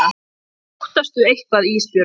Óttast þú eitthvað Ísbjörg?